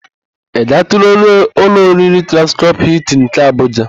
Ị gaatụla ụlọ oriri Transcọp Hịltịn nke Abuja?